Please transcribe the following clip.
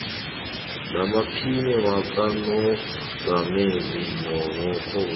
namaphini wakamongameli nabarholi